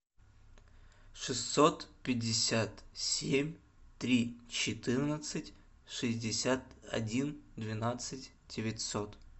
шестьсот пятьдесят семь три четырнадцать шестьдесят один двенадцать девятьсот